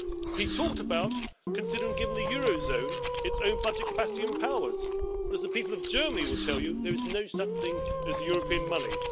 He talked about considering giving the euro area its own budget capacity and powers but, as the people of Germany will tell you, there is no such thing as European money.